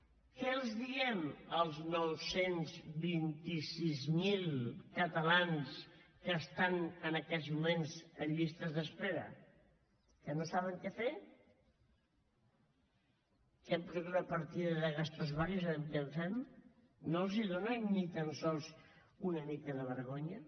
què els diem als nou cents i vint sis mil catalans que estan en aquests moments en llistes d’espera que no saben què fer que hem posat una partida de gastos varios a veure què en fem no els dóna ni tan sols una mica de vergonya